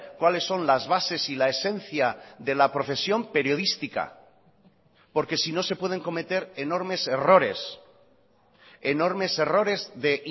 cuáles son las bases y la esencia de la profesión periodística porque si no se pueden cometer enormes errores enormes errores de